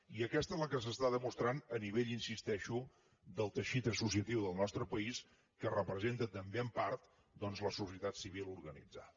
i aquesta és la que s’està demostrant a nivell hi insisteixo del teixit associatiu del nostre país que representa també en part doncs la societat civil organitzada